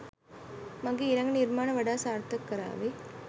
මගෙ ඊළඟ නිර්මාණ වඩා සාර්ථක කරාවි.